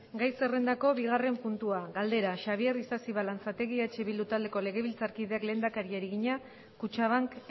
gai zerrendako bigarren puntua galdera xabier isasi balanzategi eh bildu taldeko legebiltzarkideak lehendakariari egina kutxabank